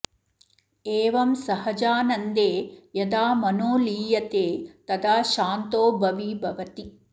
एवं सहजानन्दे यदा मनो लीयते तदा शान्तो भवी भवति